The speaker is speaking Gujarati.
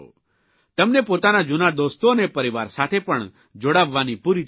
તમને પોતાના જૂના દોસ્તો અને પરિવાર સાથે પણ જોડાવવાની પૂરી તક મળશે